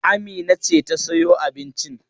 Amina ce ta sayo abincin.